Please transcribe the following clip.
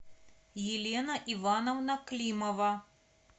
елена ивановна климова